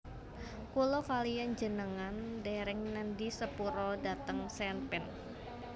Kula kaliyan njenengan dereng nedhi sepura dhateng Sean Penn